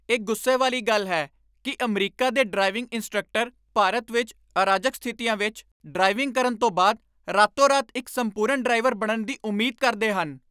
ਇਹ ਗੁੱਸੇ ਵਾਲੀ ਗੱਲ ਹੈ ਕਿ ਅਮਰੀਕਾ ਦੇ ਡਰਾਈਵਿੰਗ ਇੰਸਟ੍ਰਕਟਰ ਭਾਰਤ ਵਿੱਚ ਅਰਾਜਕ ਸਥਿਤੀਆਂ ਵਿੱਚ ਡਰਾਈਵਿੰਗ ਕਰਨ ਤੋਂ ਬਾਅਦ ਰਾਤੋ ਰਾਤ ਇੱਕ ਸੰਪੂਰਨ ਡਰਾਈਵਰ ਬਣਨ ਦੀ ਉਮੀਦ ਕਰਦੇ ਹਨ।